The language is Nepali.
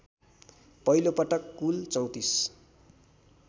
पहिलोपटक कुल ३४